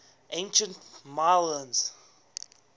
ancient milesians